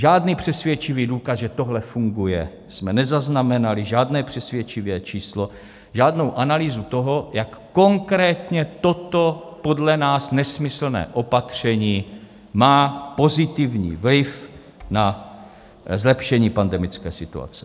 Žádný přesvědčivý důkaz, že tohle funguje, jsme nezaznamenali, žádné přesvědčivé číslo, žádnou analýzu toho, jak konkrétně toto podle nás nesmyslné opatření má pozitivní vliv na zlepšení pandemické situace.